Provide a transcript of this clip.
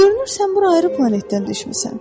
Görünür sən bura ayrı planetdən düşmüsən.